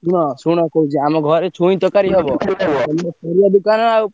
ଶୁଣ ଶୁଣ କହୁଛି ଆମ ଘରେ ଛୁଇଁ ତରକାରୀ ହବ ଖୋଲିନ ଦୋକାନ ଆଉ।